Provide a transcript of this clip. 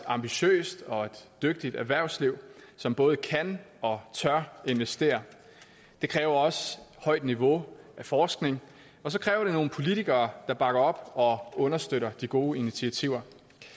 ambitiøst og et dygtigt erhvervsliv som både kan og tør investere det kræver også højt niveau af forskning og så kræver det nogle politikere der bakker op og understøtter de gode initiativer